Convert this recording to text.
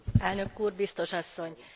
Elnök Úr, Biztos Asszony!